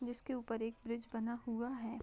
जिसके ऊपर एक ब्रीज बना हुआ है।